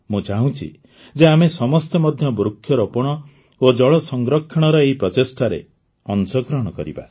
ମୁଁ ଚାହୁଁଛି ଯେ ଆମେ ସମସ୍ତେ ମଧ୍ୟ ବୃକ୍ଷରୋପଣ ଓ ଜଳ ସଂରକ୍ଷଣର ଏହି ପ୍ରଚେଷ୍ଟାରେ ଅଂଶଗ୍ରହଣ କରିବା